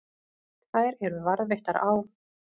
Þær eru varðveittar á